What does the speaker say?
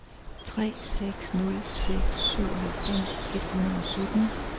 tre seks nul seks syvoghalvfems et hundrede og sytten